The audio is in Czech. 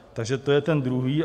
Takže to je ten druhý.